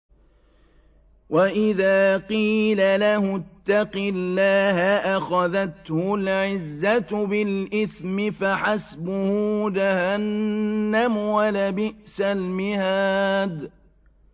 وَإِذَا قِيلَ لَهُ اتَّقِ اللَّهَ أَخَذَتْهُ الْعِزَّةُ بِالْإِثْمِ ۚ فَحَسْبُهُ جَهَنَّمُ ۚ وَلَبِئْسَ الْمِهَادُ